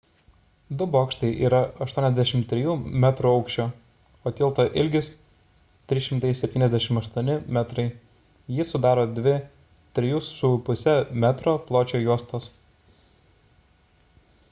du bokštai yra 83 metrų aukščio o tilto ilgis – 378 metrai jį sudaro dvi 3,50 m pločio juostos